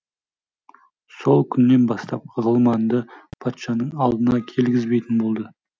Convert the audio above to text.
сол күннен бастап ғылманды патшаның алдына келгізбейтін болды